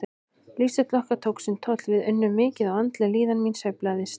Lífsstíll okkar tók sinn toll, við unnum mikið og andleg líðan mín sveiflaðist.